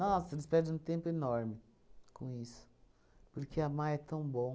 Nossa, eles perdem um tempo enorme com isso, porque amar é tão bom.